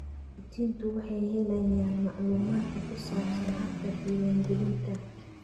Waalidiintu waxay helayaan macluumaadka ku saabsan habka diiwaangelinta.